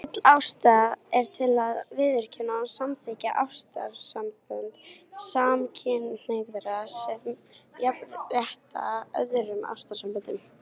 Full ástæða er til að viðurkenna og samþykkja ástarsambönd samkynhneigðra sem jafnrétthá öðrum ástarsamböndum.